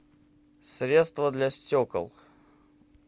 средство для стекол